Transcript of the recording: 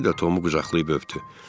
Kişi də Tomu qucaqlayıb öpdü.